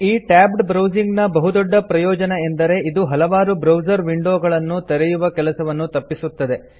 ಈ tabbed browsing ನ ಬಹುದೊಡ್ಡ ಪ್ರಯೋಜನ ಏನಂದರೆ ಇದು ಹಲವಾರು ಬ್ರೌಸರ್ ವಿಂಡೊಗಳನ್ನು ತೆರೆಯುವ ಕೆಲಸವನ್ನು ತಪ್ಪಿಸುತ್ತದೆ